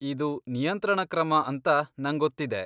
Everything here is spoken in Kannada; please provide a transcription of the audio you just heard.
ಇದು ನಿಯಂತ್ರಣ ಕ್ರಮ ಅಂತ ನಂಗೊತ್ತಿದೆ.